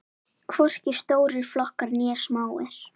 Hvorki stórir flokkar né smáir.